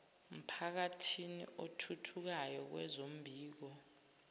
mphakathini othuthukayo kwezombiko